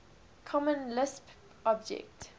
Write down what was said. common lisp object